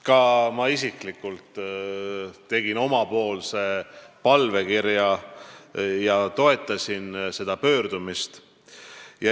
Ka mina tegin isikliku palvekirja ja toetasin seda pöördumist.